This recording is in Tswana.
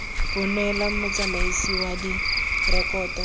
bo neelwa motsamaisi wa direkoto